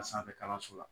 A sanfɛ kalanso la